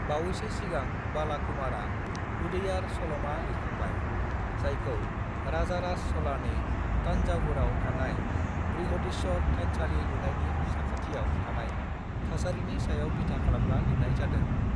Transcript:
"बावैसो सिगां बालाकुमारनआ उदैयार सल'मा लिरखांबाय, जायखौ राजाराज च'लानि तान्जावुराव थानाय बृहदीश्वर थानसालि लुनायनि साखाथियाव थानाय थासारिनि सायाव बिथा खालामना लिरनाय जादों।"